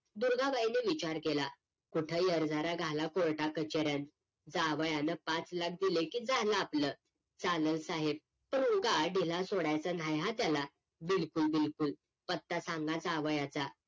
दुर्गा बाईने विचार केला कुठ हेरझाऱ्या घाला कोर्टा कचऱ्यात जावयान पाच लाख दिल की झाल आपल चालल साहेब पण काय दिला सोडायच नाही हा त्याला बिलकुल बिलकुल पत्ता सांगा जावायाचा